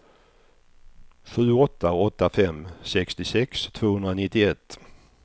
sju åtta åtta fem sextiosex tvåhundranittioett